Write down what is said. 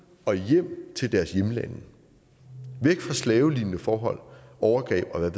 og hjem til deres hjemlande væk fra slavelignende forhold overgreb og